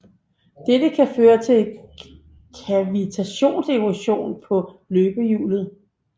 Dette kan føre til kavitationserosion på løbehjulet